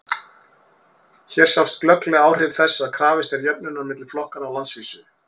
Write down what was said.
hér sjást glögglega áhrif þess að krafist er jöfnunar milli flokkanna á landsvísu